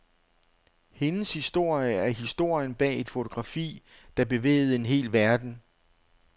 Hendes historie er historien bag et fotografi, der bevægede en hel verden.